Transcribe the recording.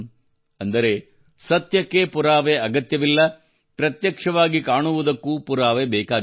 ಅಂದರೆ ಸತ್ಯಕ್ಕೆ ಪುರಾವೆ ಅಗತ್ಯವಿಲ್ಲ ಪ್ರತ್ಯಕ್ಷವಾಗಿ ಕಾಣುವುದಕ್ಕೂ ಪುರಾವೆ ಬೇಕಾಗಿಲ್ಲ